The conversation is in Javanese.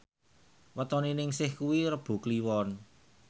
wetone Ningsih kuwi Rebo Kliwon